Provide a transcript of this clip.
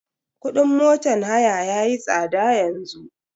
Kudin motan haya yayi tsada yanzu.